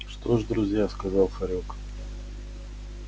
что ж друзья сказал хорёк